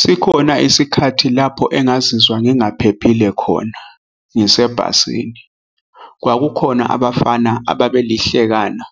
Sikhona isikhathi lapho engazizwa ngingaphephile khona ngisebhasini. Kwakukhona abafana ababelihlekana